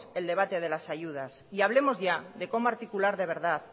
en debate de las ayudas y hablemos ya de de cómo articular de verdad